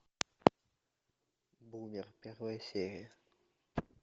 бумер первая серия